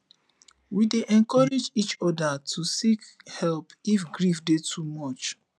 we dey encourage each oda to seek help if grief dey too much